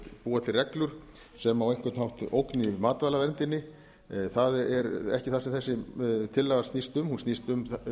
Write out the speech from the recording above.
búa til reglur sem á einhvern hátt ógni matvælaverndinni það er ekki það sem þessi tillaga snýst um hún snýst um